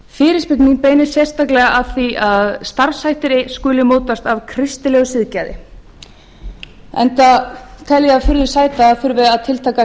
fyrirspurn mín beinist sérstaklega að því að starfshættir skuli mótast af kristilegu siðgæði enda tel ég það furðu sæta að það þurfi að tiltaka